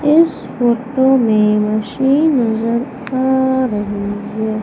इस फोटो में मशीन आ रही है।